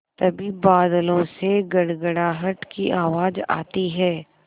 तभी बादलों से गड़गड़ाहट की आवाज़ आती है